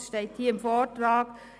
Es steht hier im Vortrag: